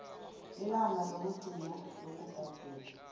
ilanga lokugcina lokubhadela